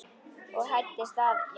og hæddist að jafnvel